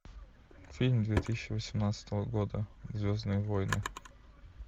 фильм две тысячи восемнадцатого года звездные войны